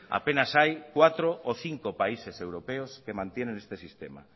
apenas hay cuatro o cinco países europeos que mantienen este sistema